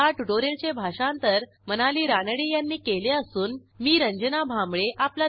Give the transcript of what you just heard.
ह्या ट्युटोरियलचे भाषांतर मनाली रानडे यांनी केले असून मी आपला निरोप घेते160